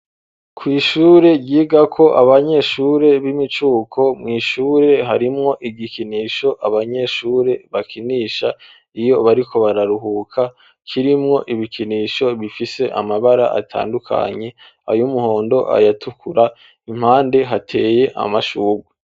kw'ishure ryigako abanyeshure b'imicuko mw'ishure harimwo igikinisho abanyeshure bakinisha iyo bariko bararuhuka kirimwo ibikinisho bifise amabara atandukanye ayumuhondo ayatukura impande hateye amashurwe